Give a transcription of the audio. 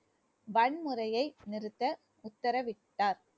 வன்முறையை நிறுத்த உத்தரவிட்டார்